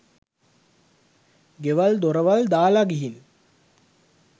ගෙවල් දොරවල් දාලා ගිහින්